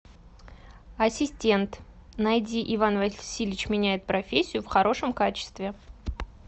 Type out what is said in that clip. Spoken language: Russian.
ассистент найди иван васильевич меняет профессию в хорошем качестве